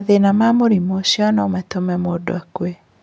Mathĩna ma mũrimũ ũcio no matũme mũndũ akue.